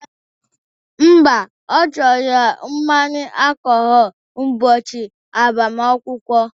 Mba, ọ chọrọ mmanya alkọhọlu ubochi agbamaakwụkwọ